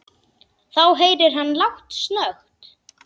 Þá heyrir hann lágt snökt.